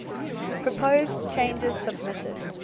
proposed changes submitted